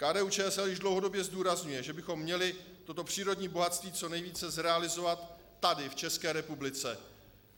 KDU-ČSL již dlouhodobě zdůrazňuje, že bychom měli toto přírodní bohatství co nejvíce zrealizovat tady v České republice.